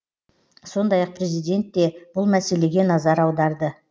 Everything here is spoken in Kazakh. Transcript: сондай ақ президент те бұл мәселеге назар аударды